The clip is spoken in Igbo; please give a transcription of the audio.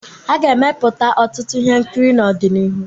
A ga-emepụta ọtụtụ ihe nkiri n'ọdịnihu.